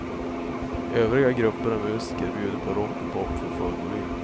Övriga grupper och musiker bjuder på rock och pop för full volym.